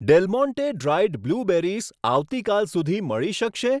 Del Monte dried blueberries આવતીકાલ સુધી મળી શકશે?